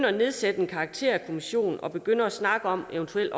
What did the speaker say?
at nedsætte en karakterkommission og begynde at snakke om eventuelt